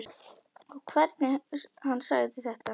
Og hvernig hann sagði þetta.